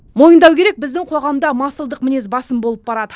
мойындау керек біздің қоғамда масылдық мінез басым болып барады